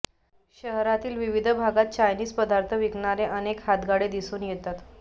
शहरातील विविध भागात चायनीज पदार्थ विकणारे अनेक हातगाडे दिसून येत आहेत